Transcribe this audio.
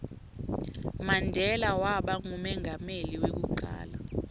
mandela waba ngumengameli weku cala